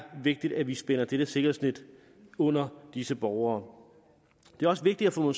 vigtigt at vi spænder dette sikkerhedsnet ud under disse borgere det er også vigtigt at få